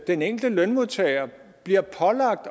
den enkelte lønmodtager bliver pålagt